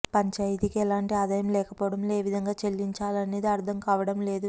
పంచాయతీకి ఎలాంటి ఆదాయం లేకపోవడంతో ఏ విధంగా చెల్లించాలనేది అర్థం కావడం లేదు